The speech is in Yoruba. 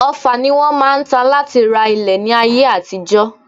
Ọfà ni wọ́n máa ń ta láti ra ilẹ̀ ní ayé àtijọ́